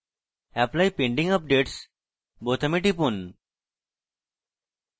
apply pending updates বোতামে টিপুন